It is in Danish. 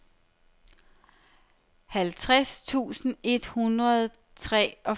halvtreds tusind et hundrede og treogfirs